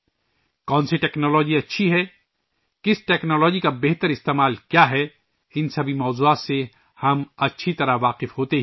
کون سی ٹیکنالوجی اچھی ہے، کون سی ٹیکنالوجی کا بہتر استعمال، ہم ان تمام موضوعات سے بخوبی واقف ہی ہیں